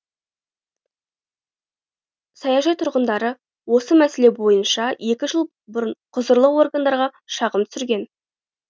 саяжай тұрғындары осы мәселе бойынша екі жыл бұрын құзырлы органдарға шағым түсірген